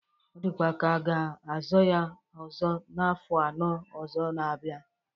Ọ dịkwa ka ọ ga-azọ ya ọzọ n'afọ anọ ọzọ ga-abịa